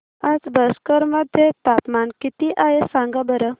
आज बक्सर मध्ये तापमान किती आहे सांगा बरं